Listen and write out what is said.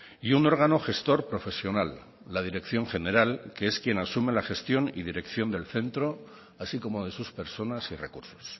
y un órgano gestor profesional la dirección general que es quien asume la gestión y dirección del centro así como de sus personas y recursos